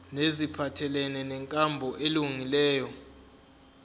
neziphathelene nenkambo elungileyo